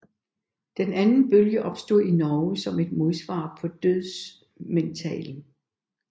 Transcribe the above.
Den anden bølge opstod i Norge som et modsvar på dødsmetallen